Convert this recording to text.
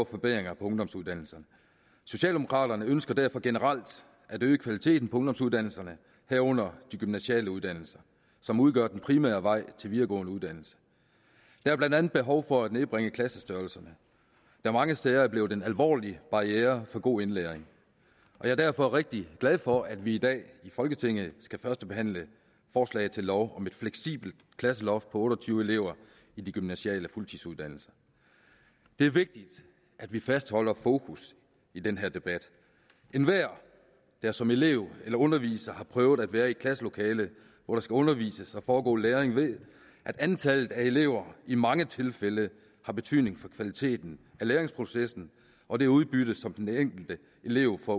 forbedringer på ungdomsuddannelserne socialdemokraterne ønsker derfor generelt at øge kvaliteten på ungdomsuddannelserne herunder de gymnasiale uddannelser som udgør den primære vej til videregående uddannelse der er blandt andet behov for at nedbringe klassestørrelserne der mange steder er blevet en alvorlig barriere for god indlæring jeg er derfor rigtig glad for at vi i dag i folketinget skal førstebehandle forslag til lov om et fleksibelt klasseloft på otte og tyve elever i de gymnasiale fuldtidsuddannelser det er vigtigt at vi fastholder fokus i den her debat enhver der som elev eller underviser har prøvet at være i et klasselokale hvor der skal undervises og foregå læring ved at antallet af elever i mange tilfælde har betydning for kvaliteten af læringsprocessen og det udbytte som den enkelte elev får